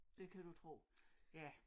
Det kan du tro ja